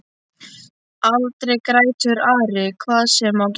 Aldrei grætur Ari hvað sem á gengur.